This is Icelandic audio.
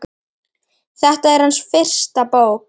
Þetta er hans fyrsta bók.